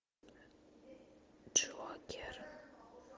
джокер